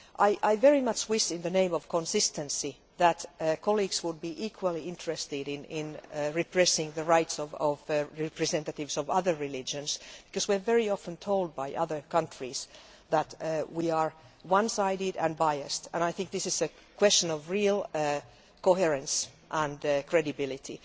I very much wish, in the name of consistency, that colleagues would be equally interested in repression of the rights of representatives of other religions, because we are very often told by other countries that we are one sided and biased, so I think this is a question of real coherence and credibility.